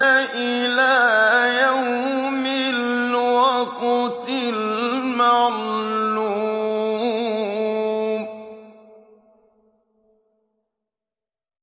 إِلَىٰ يَوْمِ الْوَقْتِ الْمَعْلُومِ